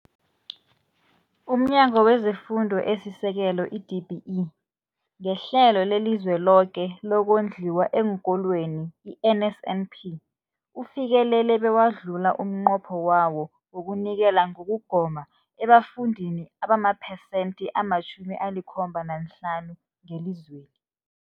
UmNyango wezeFundo esiSekelo, i-DBE, ngeHlelo leliZweloke lokoNdliwa eenKolweni, i-NSNP, ufikelele bewadlula umnqopho wawo wokunikela ngokugoma ebafundini abamaphesenthi ama-75 ngelizweni.